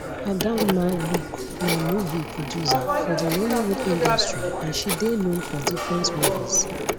adanma luke na movie producer for di nollywood industry and she dey known for different movies